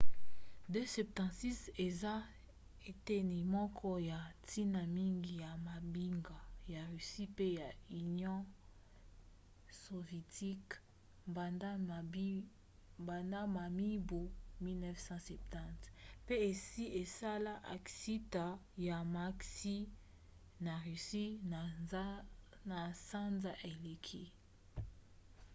il-76 eza eteni moko ya ntina mingi ya mampinga ya russie pe ya union sovietique banda na mibu 1970 pe esi esala aksida ya maksi na russie na sanza eleki